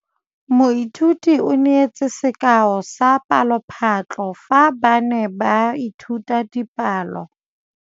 Moithuti o neetse sekaô sa palophatlo fa ba ne ba ithuta dipalo.